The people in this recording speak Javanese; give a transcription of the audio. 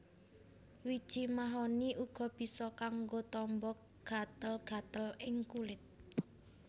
Wiji mahoni uga bisa kanggo tamba gatel gatel ing kulit